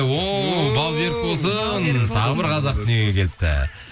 о бауы берік болсын тағы бір қазақ дүниеге келіпті